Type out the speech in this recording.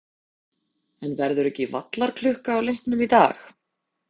En verður ekki vallarklukka á leiknum í dag?